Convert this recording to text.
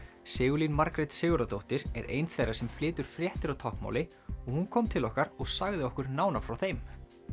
Sigurlín Margrét Sigurðardóttir er ein þeirra sem flytur fréttir á táknmáli og hún kom til okkar og sagði okkur nánar frá þeim